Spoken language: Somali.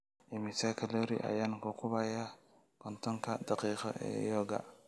Immisa kaloori ayaan ku gubayaa kontonka daqiiqo ee yoga?